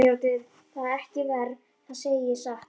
Mér þótti það ekki verra, það segi ég satt.